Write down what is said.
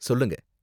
சொல்லுங்க